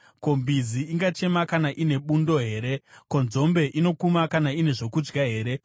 Ko, mbizi ingachema kana ine bundo here? Ko, nzombe inokuma kana ine zvokudya here?